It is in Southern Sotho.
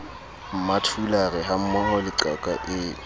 mmathulare hammoho le qaka eo